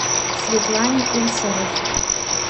светлане усовой